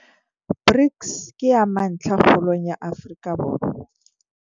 BRICS ke ya mantlha kgolong ya Afrika Borwa.